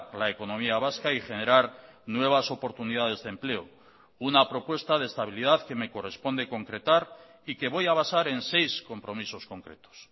la economía vasca y generar nuevas oportunidades de empleo una propuesta de estabilidad que me corresponde concretar y que voy a basar en seis compromisos concretos